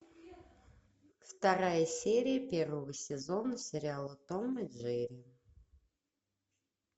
вторая серия первого сезона сериала том и джерри